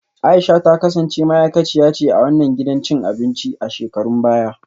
A’isha ta kasance ma’aikaciya ce a wannan gidan cin abinci a shekarun baya